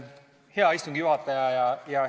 Hea istungi juhataja!